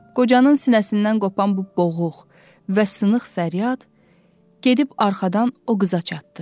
Qocanın sinəsindən qopan bu boğuq və sınıq fəryad, gedib arxadan o qıza çatdı.